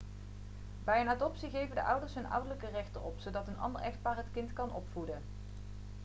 bij een adoptie geven de ouders hun ouderlijke rechten op zodat een ander echtpaar het kind kan opvoeden